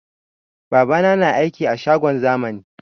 Babana na aiki a shagon zamani